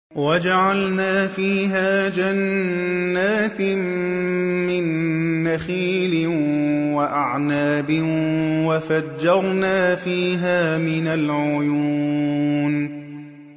وَجَعَلْنَا فِيهَا جَنَّاتٍ مِّن نَّخِيلٍ وَأَعْنَابٍ وَفَجَّرْنَا فِيهَا مِنَ الْعُيُونِ